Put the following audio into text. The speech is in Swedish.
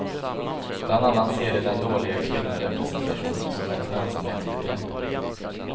Bland annat ser de den dåliga kvinnorepresentationen som ett lönsamhetsproblem.